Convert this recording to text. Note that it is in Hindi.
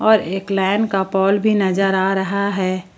और लाइन का पॉल भी नजर आ रहा है।